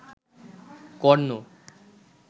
কর্ণ